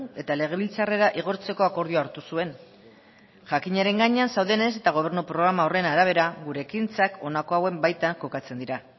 eta legebiltzarrera igortzeko akordioa hartu zuen jakinaren gainean zaudenez eta gobernu programa horren arabera gure ekintzak honako hauen baitan kokatzen dira